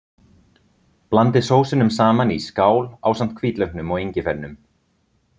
Blandið sósunum saman í skál ásamt hvítlauknum og engifernum.